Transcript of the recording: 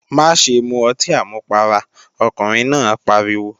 Má ṣe mu ọtí àmupara, ọkùnrin náà pariwo!